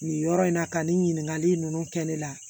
Nin yɔrɔ in na ka nin ɲiningali ninnu kɛ ne la